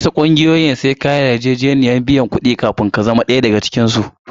Wasu ƙungiyoyin sai ka yi yarjejeniyar biyan su kuɗi akai-akai kafin ka zama ɗaya daga cikinsu.